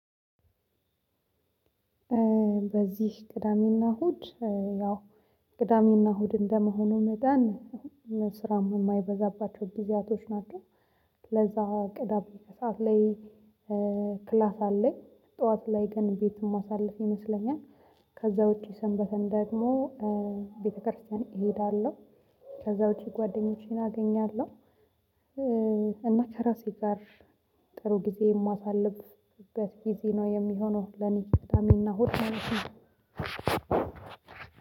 በዚህ ቅዳሜ እና እሁድ ያው ቅዳሜና እሁድ እንደመሆኑ መጠን ስራም የማይበዛባቸው። ለዛ ቅዳሜ ከሰአት ላይ ክላስ አለኝ ጠዋት ላይ ግን ቤት የማሳልፍ ይመስለኛል። ከዛ ውጪ ሰንበትን ደግሞ ቤተክርስቲያን እሄዳለሁ። ከዛ ውጪ ጓደኞቼን አገኛለሁ። እና ከራሴ ጋር ጥሩ ጊዜ የማሳልፍበት ጊዜ ነው የሚሆነው። ለኔ ቅዳሜና እሁድ ማለት ነው።